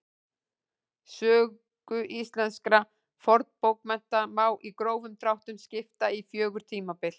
Sögu íslenskra fornbókmennta má í grófum dráttum skipta í fjögur tímabil.